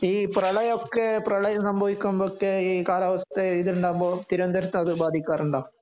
ഈ പ്രളയം ഒക്കെ പ്രളയം സംഭവിക്കുമ്പോൾ ഒക്കെ ഈ കാലാവസ്ഥ ഇതുണ്ടാക്കുമ്പോൾ തിരുവനന്തപുരത്ത് അതു ബാതിക്കാറുണ്ടോ ?